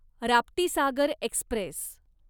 Raptisagar Express